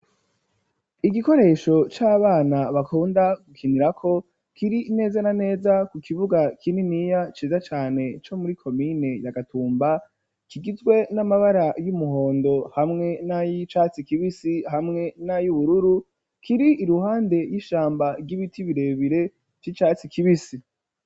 Igikoresho cy'abana bakunda gukinira ko kiri neza na neza ku kibuga k'ininiya ciza cyane co muri komine ya gatumba kigizwe n'amabara y'umuhondo hamwe na y'icatsi kibisi hamwe na y'ubururu kiri iruhande y'ishamba ry'ibiti birebire cy'icatsi kibisi.